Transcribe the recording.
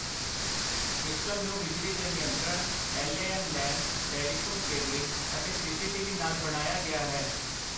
System ਨੂੰ ਬਿਜਲੀ ਦੇ ਨਿਯੰਤਰਣ, ਐੱਲਏਐੱਨ ਲੈਨ, ਟੈਲੀਫ਼ੋਨ ਕੇਬਲਿੰਗ ਅਤੇ ਸੀਸੀਟੀਵੀ ਨਾਲ ਬਣਾਇਆ ਗਿਆ ਹੈ।